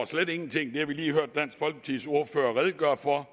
slet ingenting det har vi lige hørt dansk folkepartis ordfører redegøre for